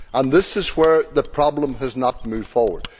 This is where the problem has not moved forward.